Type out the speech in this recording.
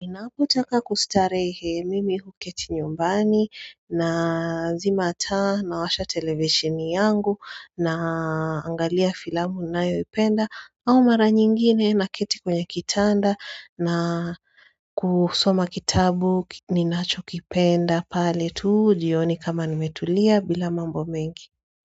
Ninapotaka kustarehe mimi huketi nyumbani nazima taa na washa televisheni yangu naangalia filamu na yoipenda au mara nyingine na keti kwenye kitanda na kusoma kitabu ninacho kipenda pale tu jioni kama nimetulia bila mambo mengi.